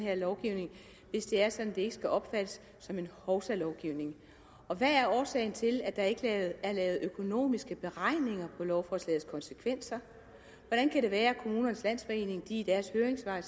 her lovgivning hvis det er sådan at det ikke skal opfattes som en hovsalovgivning hvad er årsagen til at der ikke er lavet økonomiske beregninger af lovforslagets konsekvenser og hvordan kan det være at kommunernes landsforening skriver i deres høringssvar at